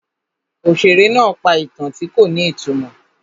Òṣèré náà pa ìtàn tí kò ní ìtumọ̀.